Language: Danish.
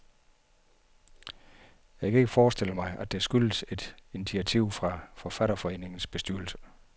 Jeg kan ikke forestille mig, at det skyldes et initiativ fra forfatterforeningens bestyrelse.